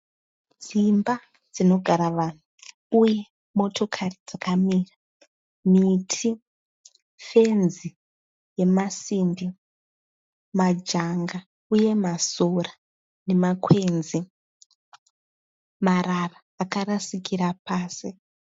Dzimba dzinogara vanhu uye motokari dzakamira. Miti, fenzi yemasimbi , majanga, uye masora nemakwenzi, marara akarasikira pasi.